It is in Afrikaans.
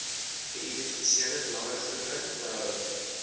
geïdentifiseerde belangegroepe behou